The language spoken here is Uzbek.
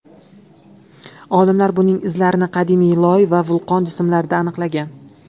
Olimlar buning izlarini qadimiy loy va vulqon jismlarida aniqlagan.